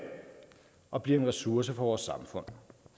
og bliver en ressource for vores samfund